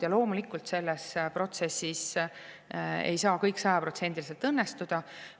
Ja loomulikult ei saa selles protsessis kõik sajaprotsendiliselt õnnestuda.